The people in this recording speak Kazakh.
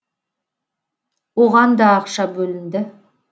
оған да ақша бөлінді